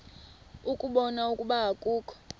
ukubona ukuba akukho